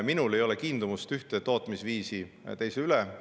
Ma ei ole ühte tootmisviisi rohkem kiindunud kui teise.